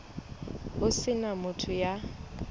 ho se na motho ya